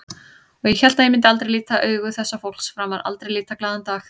Og ég hélt ég myndi aldrei líta augu þessa fólks framar, aldrei líta glaðan dag.